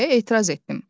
Deyə etiraz etdim.